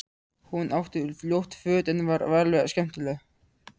Hún átti ljót föt en var alveg skemmtileg.